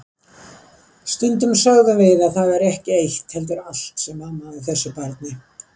Stundum sögðum við að það væri ekki eitt heldur allt sem amaði að þessu barni.